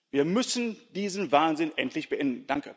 Wir müssen diesen Wahnsinn endlich beenden.